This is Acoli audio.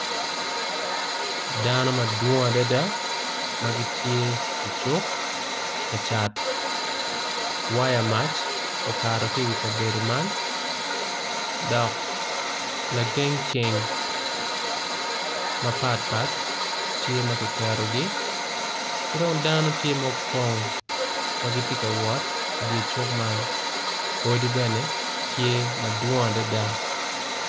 Dano madwong adada magitye i cuk kacat waya mac okato ki kabedo man dok lageng ceng mapat pat tye makiketogi kidong dano tye ma opoing magitye kawot icuk man odi bene tye madwong adada.